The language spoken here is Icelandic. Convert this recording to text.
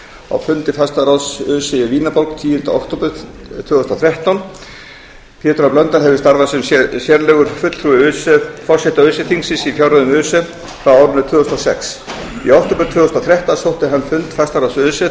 á fundi fastaráðs öse í vínarborg tíunda október tvö þúsund og þrettán pétur h blöndal hefur starfað sem sérlegur fulltrúi forseta öse þingsins í fjárreiðum öse frá árinu tvö þúsund og sex í október tvö þúsund og þrettán sótti hann fund fastaráðs öse þar